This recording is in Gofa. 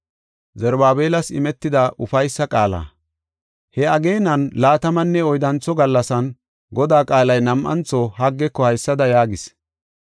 He ageenan laatamanne oyddantho gallasan Godaa qaalay nam7antho Haggeko haysada yaagis.